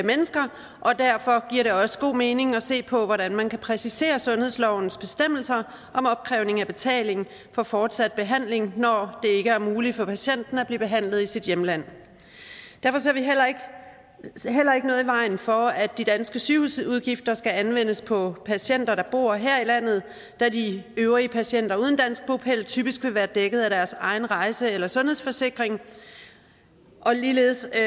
mennesker og derfor giver det også god mening at se på hvordan man kan præcisere sundhedslovens bestemmelser om opkrævning af betaling for fortsat behandling når det ikke er muligt for patienten at blive behandlet i sit hjemland derfor ser vi heller ikke noget i vejen for at de danske sygehusudgifter skal anvendes på patienter der bor her i landet da de øvrige patienter uden dansk bopæl typisk vil være dækket af deres egen rejse eller sundhedsforsikring og ligeledes er